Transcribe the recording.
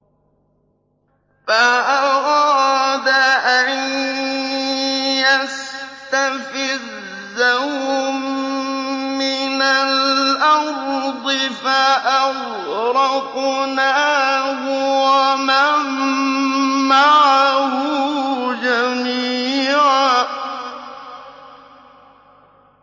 فَأَرَادَ أَن يَسْتَفِزَّهُم مِّنَ الْأَرْضِ فَأَغْرَقْنَاهُ وَمَن مَّعَهُ جَمِيعًا